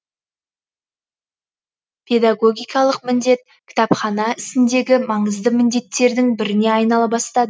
педагогикалық міндет кітапхана ісіндегі маңызды міндеттердің біріне айнала бастады